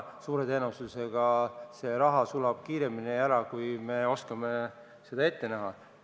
Suure tõenäosusega see raha sulab praegu ära kiiremini, kui me oskame ette näha.